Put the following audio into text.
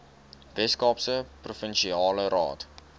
weskaapse provinsiale raad